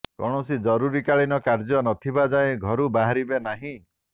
କୌଣସି ଜରୁରୀକାଳୀନ କାର୍ଯ୍ୟ ନଥିବା ଯାଏଁ ଘରୁ ବାହାରିବେ ନାହିଁ